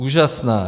Úžasná.